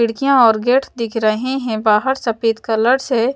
खिड़कियां और गेट दिख रहे हैं बाहर सफेद कलर से--